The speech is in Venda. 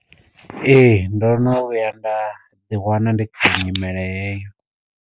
Ee ndo no vhuya nda ḓi wana ndi kha nyimele heyo.